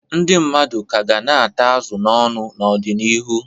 Ndị mmadụ ka ga na-ata azụ n'ọnụ n'ọdịnihu.